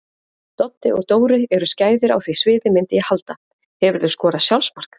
Doddi og Dóri eru skæðir á því sviði myndi ég halda Hefurðu skorað sjálfsmark?